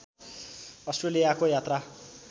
अस्ट्रेलियाको यात्रा